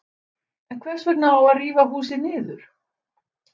En hvers vegna á að rífa húsið niður?